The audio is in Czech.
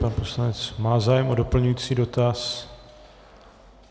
Pan poslanec má zájem o doplňující dotaz.